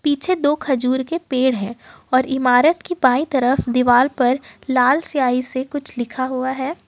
पीछे दो खजूर के पेड़ है और इमारत की बाई तरफ दीवार पर लाल स्याही से कुछ लिखा हुआ है।